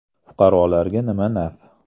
Fuqarolarga nima naf?